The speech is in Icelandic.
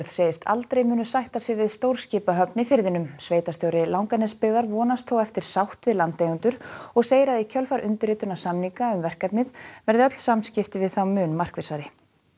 segist aldrei munu sætta sig við stórskipahöfn í firðinum sveitarstjóri Langanesbyggðar vonast þó eftir sátt við landeigendur og segir að í kjölfar undirritunar samninga um verkefnið verði öll samskipti við þá mun markvissari